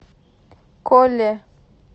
коле